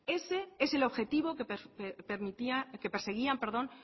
ese es el objetivo que perseguían